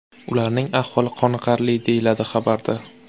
Ularning ahvoli qoniqarli”, deyiladi xabarda.